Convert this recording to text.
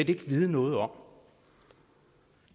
vil vide noget om